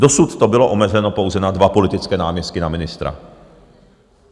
Dosud to bylo omezeno pouze na dva politické náměstky na ministra.